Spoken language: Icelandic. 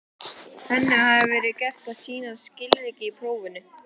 Henni hafði verið gert að sýna skilríki í prófinu.